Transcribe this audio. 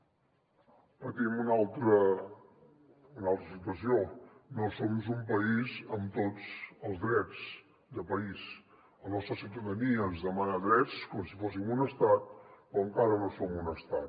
de fet patim una altra situació no som un país amb tots els drets de país la nostra ciutadania ens demana drets com si fóssim un estat però encara no som un estat